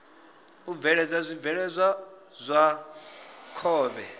u bveledza zwibveledzwa zwa khovhe